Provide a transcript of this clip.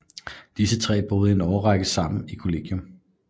Disse tre boede i en årrække i samme kollegium